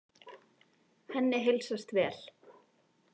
Henni heilsast vel.